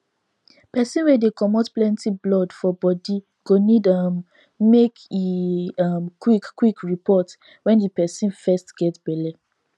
persin wey dey comot plenty blood for body go need um make e um qik qik report when the persin fest get belle